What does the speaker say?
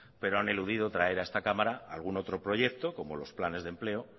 pero han eludido traer a esta cámara algún otro proyecto como los planes de empleo